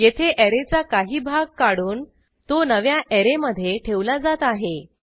येथे ऍरेचा काही भाग काढून तो नव्या ऍरेमधे ठेवला जात आहे